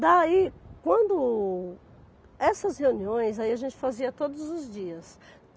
Daí, quando Essas reuniões aí a gente fazia todos os dias.